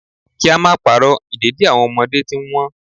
Kí á máa pa'rọ́, ìdẹ̀dì àwọn ọmọdé ti ń Wọ́n.